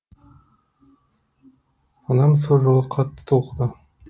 анам сол жолы қатты толқыды